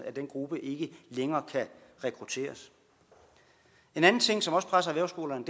at den gruppe ikke længere kan rekrutteres en anden ting som også presser erhvervsskolerne